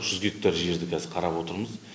жүз гектар жерді қазір қарап отырмыз